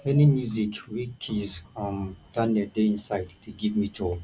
any music wey kizz um daniel dey inside dey give me joy